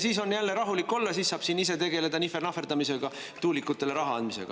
Siis on jälle rahulik olla, siis saab ise siin tegeleda nihver-nahverdamisega, tuulikutele raha andmisega.